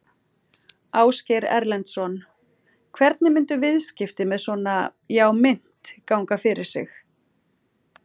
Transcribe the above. Ásgeir Erlendsson: Hvernig myndu viðskipti með svona já mynt ganga fyrir sig?